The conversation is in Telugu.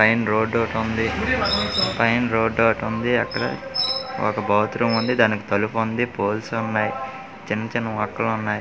పైన రోడ్ ఓటుంది పైన రోడ్ ఓటుంది అక్కడ ఒక బాత్రూమ్ ఉంది దానికి తలుపు ఉంది పోల్స్ ఉన్నాయ్ చిన్న-చిన్న మొక్కలు ఉన్నాయ్.